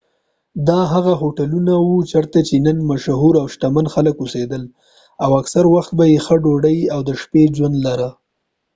دا هغه هوټلونه و چېرته چې د نن مشهور او شتمن خلک اوسیدل او اکثر وخت به یې ښه ډودۍ او د شپې ژوند لره